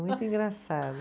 Muito engraçado.